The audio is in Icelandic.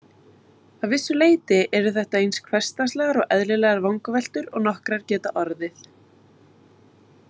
Að vissu leyti eru þetta eins hversdagslegar og eðlilegar vangaveltur og nokkrar geta orðið.